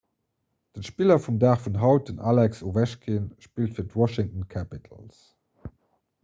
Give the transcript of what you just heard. den spiller vum dag vun haut den alex ovechkin spillt fir d'washington capitals